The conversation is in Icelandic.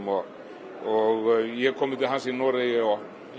og ég hef komið til hans í Noregi og